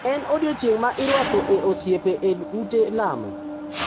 En odiechieng` ma irwako e osiepe e ute lamo.